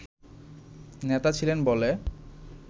নেতা ছিলেন বলে